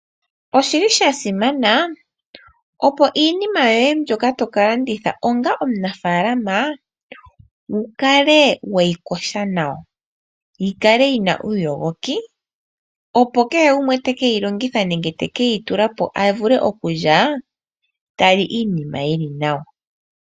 Oshili sha simana, opo iinima yoye mbyoka to ka landitha onga omunafalama, wu kale weyi kosha nawa, yikale yina uuyogoki, opo kehe gumwe teke yi longitha nenge teke yi tula po avule okulya, ta li iinima yili nawa.